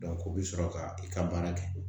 o bɛ sɔrɔ ka i ka baara kɛ